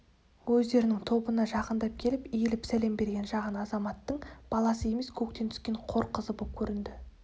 өздерінің тобына жақындап келіп иіліп сәлем берген жаған адамзаттың баласы емес көктен түскен қор қызы боп көрінді